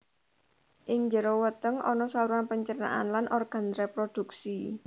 Ing jero weteng ana saluran pencernaan lan organ reproduksi